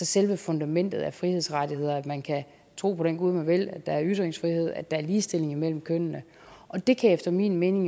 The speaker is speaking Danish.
selve fundamentet af frihedsrettigheder at man kan tro på den gud man vil at der er ytringsfrihed at der er ligestilling mellem kønnene og det kan efter min mening